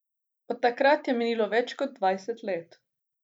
Od takrat je minilo več kot dvajset let.